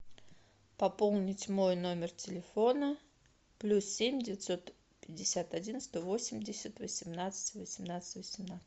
пополнить мой номер телефона плюс семь девятьсот пятьдесят один сто восемьдесят восемнадцать восемнадцать восемнадцать